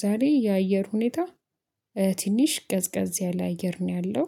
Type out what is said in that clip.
ዛሬ የአየር ሁኔታ ትንሽ ቀዝቀዝ ያለ አየር ነው ያለው።